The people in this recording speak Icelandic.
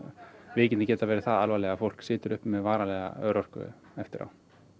veikindin geta verið það alvarleg að fólk situr uppi með varanlega örorku eftir á